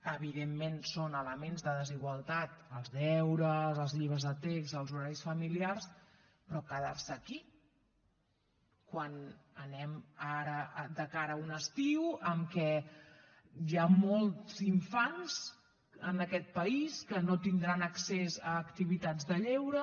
evidentment són elements de desigualtat els deures els llibres de text els horaris familiars però quedar se aquí quan anem ara de cara a un estiu en què hi ha molts infants en aquest país que no tindran accés a activitats de lleure